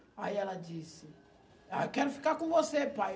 Aí ela disse, ah, eu quero ficar com você, pai.